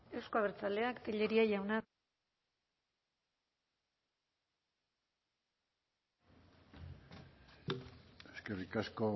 euzko abertzaleak telleria jauna eskerrik asko